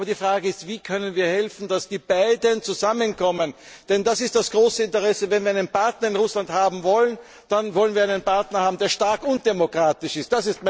Aber die Frage ist, wie können wir dabei helfen, dass die beiden zusammenkommen? Denn das ist das große Interesse, wenn wir einen Partner in Russland haben wollen, dann wollen wir einen Partner haben, der stark und demokratisch ist.